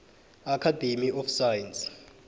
academy of science